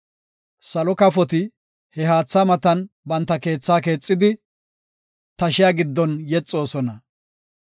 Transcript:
Salo kafoti he haatha matan banta keethaa keexidi, tashiya giddon yexoosona.